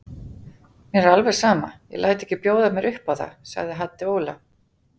Mér er alveg sama, ég læt ekki bjóða mér upp á það, ekki Haddi Óla.